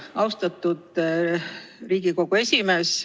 Austatud Riigikogu esimees!